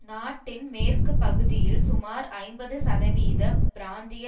நாட்டின் மேற்கு பகுதியில் சுமார் ஐம்பது சதவீத பிராந்திய